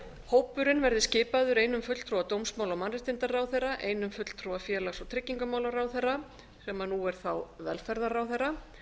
hópurinn verði skipaður einum fulltrúa dómsmála og mannréttindaráðherra einum fulltrúa félags og tryggingamálaráðherra sem nú er þá velferðarráðherra